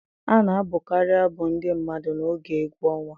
A na-abụkarị abụ ndị mmadụ n'oge egwu ọnwa